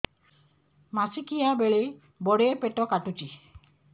ମାସିକିଆ ବେଳେ ବଡେ ପେଟ କାଟୁଚି